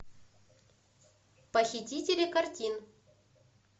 похитители картин